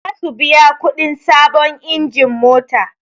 Zasu biya kuɗin sabon injin mota